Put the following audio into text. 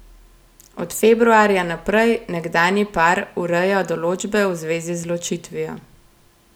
Od februarja naprej nekdanji par ureja določbe v zvezi z ločitvijo.